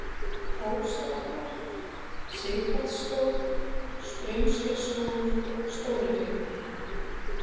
Ósabotnar, Sighvatsstóð, Straumskersvogur, Stórihryggur